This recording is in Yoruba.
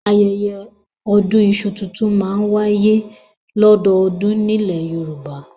Ayẹyẹ ọdún iṣu tuntun máa n waye lododun ni ile Yoruba